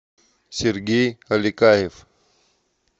сергей аликаев